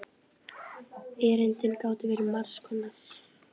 Erindin gátu verið margs konar.